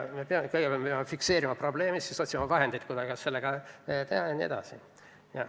Kõigepealt me peame fikseerima probleemi ja siis otsima vahendeid, kuidas seda lahendada.